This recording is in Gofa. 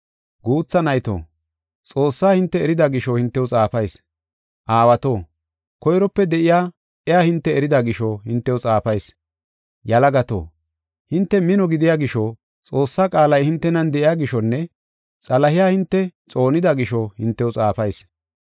Guutha nayto, Xoossaa hinte erida gisho hintew xaafayis. Aawato, koyrope de7iya iya hinte erida gisho hintew xaafayis. Yalagato, hinte mino gidiya gisho, Xoossaa qaalay hintenan de7iya gishonne Xalahiya hinte xoonida gisho hintew xaafayis.